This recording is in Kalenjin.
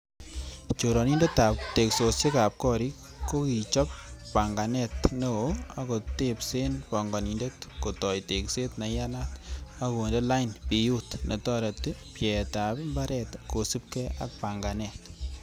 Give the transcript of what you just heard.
Choronindetab teksosiek ab gorik kokichop ponganet neo ak kotebsen pongonindet, kotoi tekset neiyanat ak konde lain biut netoreti pyeetab imbaret kosiibge ak panganet.